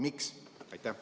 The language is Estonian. Miks?